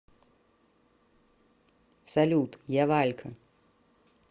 салют я валька